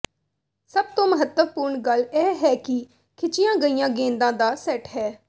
ਸਭ ਤੋਂ ਮਹੱਤਵਪੂਰਣ ਗੱਲ ਇਹ ਹੈ ਕਿ ਖਿੱਚੀਆਂ ਗਈਆਂ ਗੇਂਦਾਂ ਦਾ ਸੈੱਟ ਹੈ